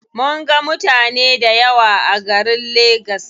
Mun ga mutane dayawa a garin lagas.